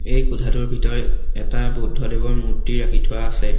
এই কোঠাটোৰ ভিতৰত এটা বৌদ্ধদেৱৰ মূৰ্তি ৰাখি থোৱা আছে।